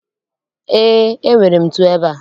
Ee, enwere m ntu ebea